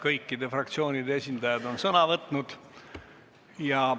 Kõikide fraktsioonide esindajad on sõna võtnud.